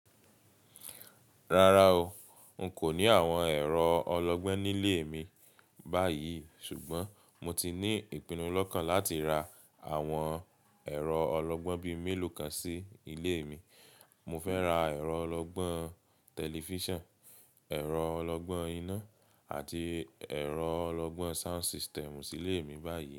Rárá o, n kò ní àwon ẹ̀rọ ọlọ́gbọ́n nílé mi báyìí, ṣùgbọ́n mo ti ní ìpinnu lọ́kàn láti ra àwon ẹ̀rọ ọlọ́gbọ́n bíi mélòó kan sí ilé mi. Mo fẹ́ ra ẹ̀rọ ọlọ́gbọ́n tẹlifíṣàn, ẹ̀rọ ọlọ́gbọ́n iná àti ẹ̀rọ ọlọ́gbọ́n sound system sí ilé mi báyìí.